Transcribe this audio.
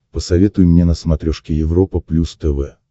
посоветуй мне на смотрешке европа плюс тв